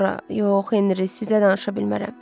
Sonra yox, Henri, sizə danışa bilmərəm.